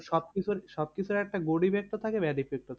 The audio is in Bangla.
সবকিছুর সবকিছুর একটা good effect ও থাকে bad effect ও থাকে